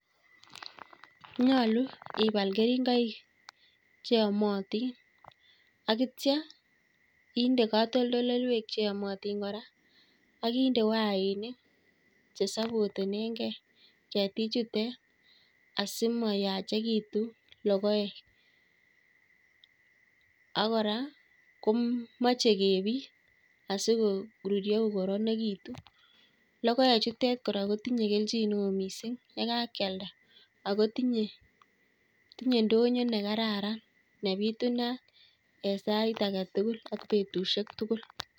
Nyolu ibal keringoik cheamatin akitcha inde katolndoloiwek cheamatin kora akinde wayainik chesapotenengei ketik chutek asimayachikitu logoek, akora komeche kebiit asikoruryo kokaranakitu. logoek chutek kora kotinye kelchineo miising' yekakialda akotinye ndonyo nekararan nebitunat eng'sait aketugul ak betusiek tugul